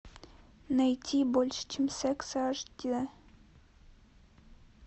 найти больше чем секс аш ди